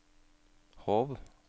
Hov